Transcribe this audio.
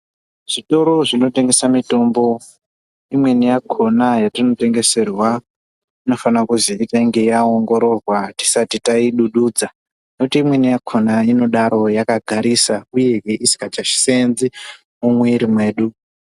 Zvitoro zvinotengesa mitombo, imweni yakhona yatinotengeserwa inofana kuzi itange yaoongororwa tisati taidududza ,ngekuti imweni yakhona inodaro yakagarisa, uyezve isikachaseenzi mumwiri mwedu.